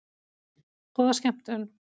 Góða skemmtun!